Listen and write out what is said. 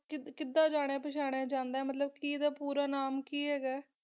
ਕੀੜਾ ਜਾਣਿਆ ਪਛਾਨਾ ਜਾਂਦਾ ਆ ਮਤਲਬ ਕਾ ਅੰਦਾ ਪੋਰ ਨਾਮ ਕੀ ਹ ਗਾ ਆ